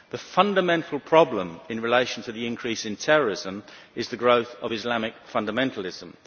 The fundamental problem in relation to the increase in terrorism is the growth of Islamic fundamentalism.